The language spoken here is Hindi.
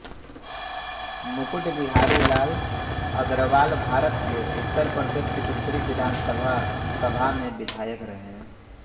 मुकुट बिहारी लाल अग्रवालभारत के उत्तर प्रदेश की दूसरी विधानसभा सभा में विधायक रहे